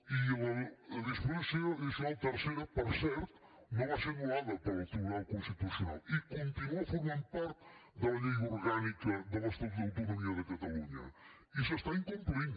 i la disposició addicional tercera per cert no va ser anul·lada pel tribunal constitucional i continua formant part de la llei orgànica de l’estatut d’autonomia de catalunya i s’incompleix